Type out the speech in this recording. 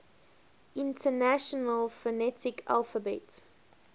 international phonetic alphabet